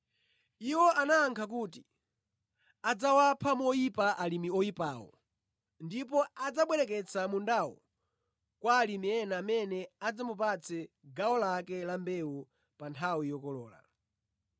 Iwo anayankha kuti, “Adzawapha moyipa alimi oyipawo ndipo adzabwereketsa mundawo kwa alimi ena amene adzamupatsa gawo lake la mbewu pa nthawi yokolola.”